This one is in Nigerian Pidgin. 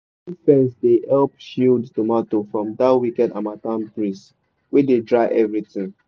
bamboo fence dey help shield tomato from that wicked harmattan breeze wey dey dry everything.